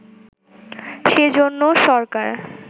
সেজন্য সরকার